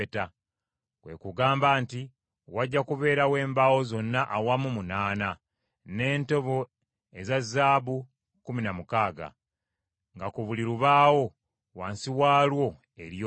Kwe kugamba nti wajja kubeerawo embaawo zonna awamu munaana, n’entobo eza ffeeza kkumi na mukaaga, nga ku buli lubaawo wansi waalwo eriyo bbiri.